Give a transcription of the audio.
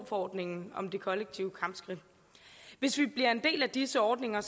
forordningen om de kollektive kampskridt hvis vi bliver en del af disse ordninger